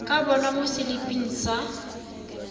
ka bonwa mo seliping sa